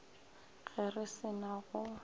ge re se na go